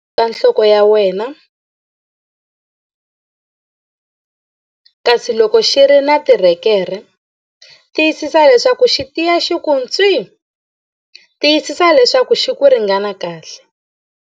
Boha titambhu endzhaku ka nhloko ya wena, kasi loko xi ri na tirhekerhe, tiyisisa leswaku xi tiya xi ku ntswii! Tiyisisa leswaku xi ku ringana kahle.